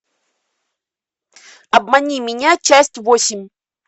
обмани меня часть восемь